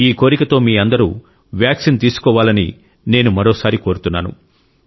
ఈ కోరికతో మీ అందరూ వ్యాక్సిన్ తీసుకోవాలని నేను మరోసారి కోరుతున్నాను